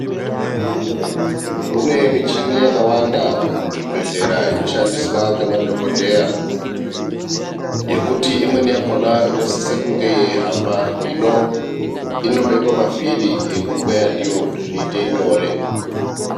Kune michini yakawanda muzvibhedhlera inoshandiswa ngemadhokodheya yekuti imweni yakhona inosise kunge yeihamba hino inobekwa mavhiri ekukweya ndiyo kuti zviite nyore.